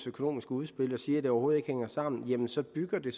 økonomiske udspil og siger det overhovedet ikke hænger sammen så bygger det